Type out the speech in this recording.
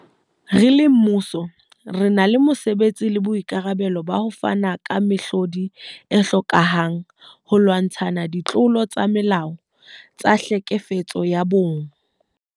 Re le mmuso, re na le mose betsi le boikarabelo ba ho fana ka mehlodi e hlokehang holwantshwa ditlolo tsa molao tsa tlhekefetso ya bong.